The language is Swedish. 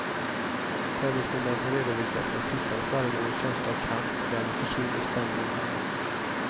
Tävlingsmomenten redovisas men tittarna får aldrig någon känsla av kamp och därmed försvinner spänningen helt.